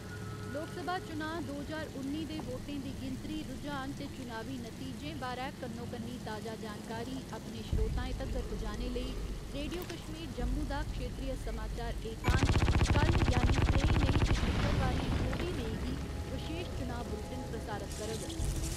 लोकसभा चुनांऽ दो ज्हार उन्नी दे वोटें दी गिनतरी, रुझान ते चुनावी नतीजें बारै कन्नो कन्नी ताजा जानकारी अपने श्रोताएं तगर पुजाने लेई, रेडियो कश्मीर जम्मू दा क्षेत्रीय समाचार एकांश कल्ल यानि त्रेई मेई ते शुक्रवारें चौबी मेई गी बशेश चुनांऽ बुलटन प्रसारत करग।